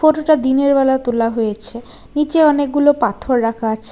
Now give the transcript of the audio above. ফটোটা দিনের বেলা তোলা হয়েছে নিচে অনেকগুলো পাথর রাখা আছে।